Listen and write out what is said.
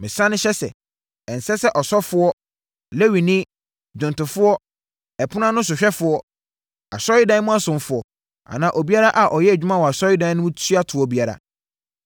Mesane hyɛ sɛ, ɛnsɛ sɛ ɔsɔfoɔ, Lewini, dwomtofoɔ, ɛpono ano sohwɛfoɔ, asɔredan mu ɔsomfoɔ anaa obiara a ɔyɛ adwuma wɔ asɔredan mu tua toɔ biara.